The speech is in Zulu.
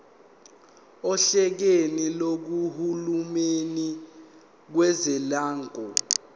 ohlakeni lukahulumeni kazwelonke